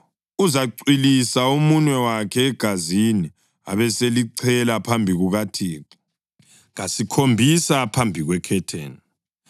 Uzacwilisa umunwe wakhe egazini, abeselichela phambi kukaThixo kasikhombisa phambi kwekhetheni.